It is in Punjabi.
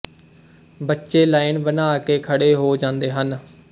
ਬੱਚੇ ਲਾਈਨ ਬਣਾ ਕੇ ਖੜੇ ਹੋ ਜਾਂਦੇ ਹਨ